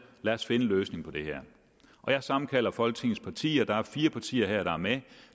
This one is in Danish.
lad os finde en løsning på det her jeg sammenkalder folketingets partier der er fire partier her der er med